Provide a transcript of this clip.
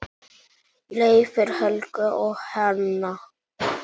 Leifur, Helga og Hanna.